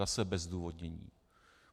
Zase bez zdůvodnění.